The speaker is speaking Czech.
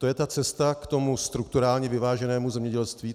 To je ta cesta k tomu strukturálně vyváženému zemědělství?